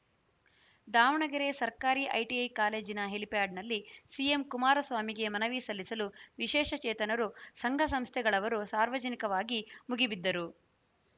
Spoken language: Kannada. ದಾವಣಗೆರೆ ಸರ್ಕಾರಿ ಐಟಿಐ ಕಾಲೇಜಿನ ಹೆಲಿಪ್ಯಾಡ್‌ನಲ್ಲಿ ಸಿಎಂ ಕುಮಾರಸ್ವಾಮಿಗೆ ಮನವಿ ಸಲ್ಲಿಸಲು ವಿಶೇಷಚೇತನರು ಸಂಘಸಂಸ್ಥೆಗಳವರು ಸಾರ್ವಜನಿಕವಾಗಿ ಮುಗಿಬಿದ್ದರು